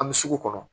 An bɛ sugu kɔnɔ